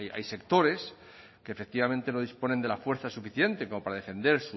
hay sectores que efectivamente no disponen de la fuerza suficiente como para defender